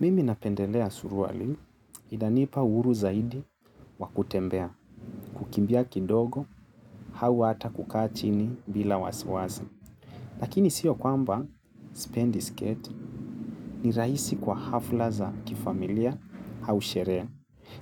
Mimi napendelea suruali, inanipa uhuru zaidi wa kutembea, kukimbia kidogo, au hata kukaa chini bila wasiwasi. Lakini siyo kwamba sipendi sketi ni rahisi kwa hafla za kifamilia au sherehe.